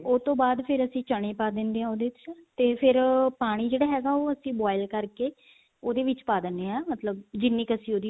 ਤੇ ਉਹ ਤੋਂ ਬਾਅਦ ਫ਼ਿਰ ਅਸੀਂ ਚਨੇ ਪਾ ਦਿੰਨੇ ਹਾਂ ਉਹਦੇ ਚ ਤੇ ਫ਼ਿਰ ਪਾਣੀ ਜਿਹੜਾ ਹੈਗਾ ਉਹ ਅਸੀਂ boil ਕਰਕੇ ਉਹਦੇ ਵਿੱਚ ਪਾ ਦਿੰਨੇ ਹਾਂ ਮਤਲਬ ਜਿੰਨੀ ਅਸੀਂ ਉਹਦੀ